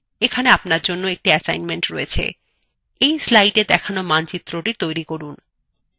এখানে আপনার জন্য আর একটি কাজ রয়েছে এই slideএ দেখানো মানচিত্রthe তৈরি করুন